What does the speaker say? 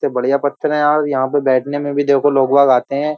बढियां पत्थर है यार। यहाँ पे बैठने में भी देखो लोग वाग आते हैं।